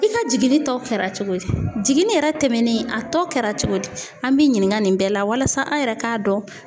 I ka jiginni tɔ kɛra cogo di jiginni yɛrɛ tɛmɛnen a tɔ kɛra cogo di an b'i ɲininka nin bɛɛ la walasa an yɛrɛ ka dɔn.